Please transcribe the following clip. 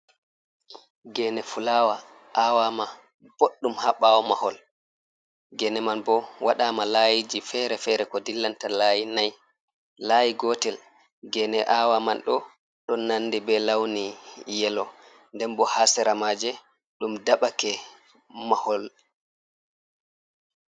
Gene fulawa awama boɗɗum ha ɓawo mahol. Gene man bo waɗama layiji fere-fere ko dillanta layi nai. Layi gotel gene awaman ɗo, ɗon nandi be launi yelo. Nden bo ha sera maaje ɗum daɓake mahol.